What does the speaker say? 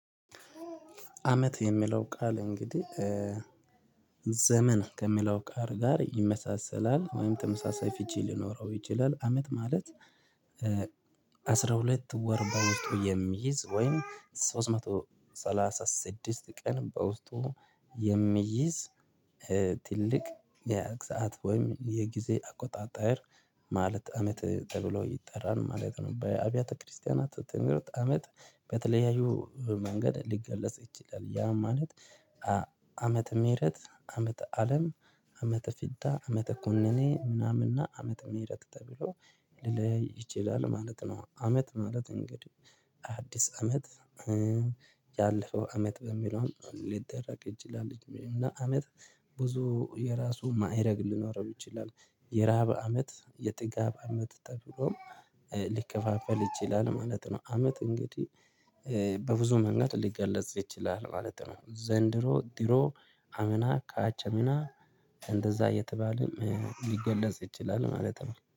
አመት የሚለው ቃል እንግዲህ ዘመን ከሚለው ቃል ጋር ይመሳሰላል ወይም ተመሳሳይ ፍቺ ሊኖረው ይችላል አመት ማለት አስራ ሁለት ወር በውስጡ የሚይዝ ወይም ሶስት መቶ ሰላሳ ስድስት ቀን በውስጡ የሚይዝ ትልቅ የግዛት ወይም የጊዜ አቆጣጠር ማለት አመት ተብሎ ይጠራል ማለት ነው። በአብያተ ክርስቲያናት ትምህርት አመት በተለያዩ መንገድ ሊገለጽ ይችላል ያ ማለት ዓመተ ምህረት ዓመተ አለም ዓመተ ፍዳ ዓመተ ኩነኔ ምናምንና ዓመተ ምህረት ተብሎ ሊለይ ይችላል ማለት ነው። አመት ማለት እንግዲህ አዲስ አመት ያለፈው አመት በሚለው ሊደረግ ይችላል እና አመት ብዙ የራሱ ማይረግ ሊኖረው ይችላል የራብ አመት የጥጋብ አመት ተብሎ ሊከፋፈል ይችላል ማለት ነው። አመት እንግዲህ በብዙ መንገድ ሊገለጽ ይችላል ማለት ነው። ዘንድሮ ድሮ አምና ካቻምና እንደዛ እየተባለም ሊገለጽ ይችላል ማለት ነው